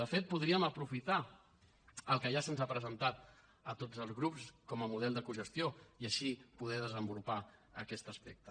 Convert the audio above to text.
de fet podríem aprofitar el que ja se’ns ha presentat a tots els grups com a model de cogestió i així poder desenvolupar aquest aspecte